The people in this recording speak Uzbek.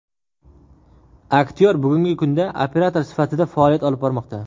Aktyor bugungi kunda operator sifatida faoliyat olib bormoqda.